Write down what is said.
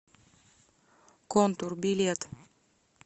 контур билет